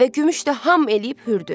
Və Gümüş də ham eləyib hürdü.